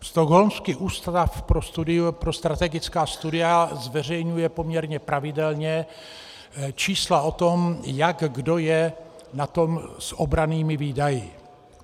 Stockholmský ústav pro strategická studia zveřejňuje poměrně pravidelně čísla o tom, jak kdo je na tom s obrannými výdaji.